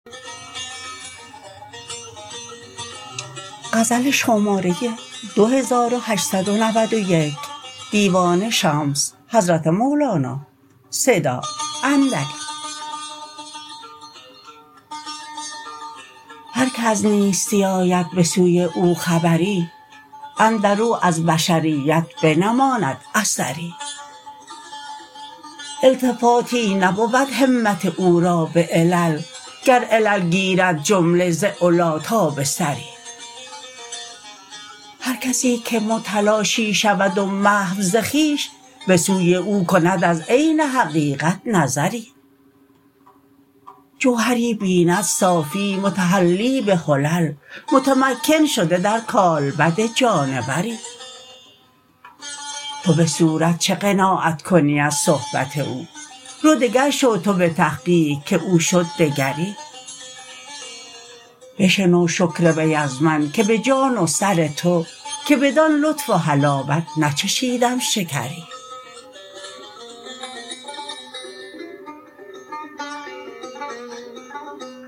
هر کی از نیستی آید به سوی او خبری اندر او از بشریت بنماید اثری التفاتی نبود همت او را به علل گر علل گیرد جمله ز علی تا به ثری هر کسی که متلاشی شود و محو ز خویش به سوی او کند از عین حقیقت نظری جوهری بیند صافی متحلی به حلل متمکن شده در کالبد جانوری تو به صورت چه قناعت کنی از صحبت او رو دگر شو تو به تحقیق که او شد دگری بشنو شکر وی از من که به جان و سر تو که بدان لطف و حلاوت نچشیدم شکری